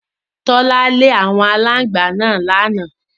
Tọ́lá lé àwọn aláǹgbá náà lánàá.